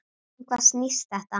Um hvað snýst þetta?